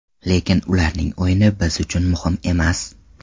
Lekin ularning o‘yini biz uchun muhim emas.